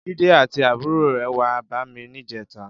Jide àtí àbúró rè wà bàmí nijètá